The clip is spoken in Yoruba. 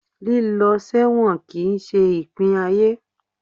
líló sẹwọ́n kí n se ipín ayé